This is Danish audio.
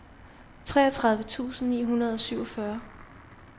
treogtredive tusind ni hundrede og syvogfyrre